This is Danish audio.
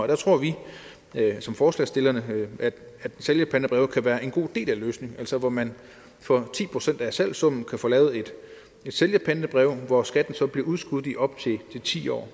der tror vi som forslagsstillere at sælgerpantebreve kan være en god del af løsningen altså hvor man for ti procent af salgssummen kan få lavet et sælgerpantebrev hvor skatten så bliver udskudt i op til ti år